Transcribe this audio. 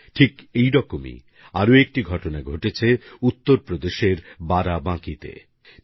ঠিক এরকমই আরেকটি ঘটনা ঘটেছে উত্তরপ্রদেশের বারাবাঁকি তে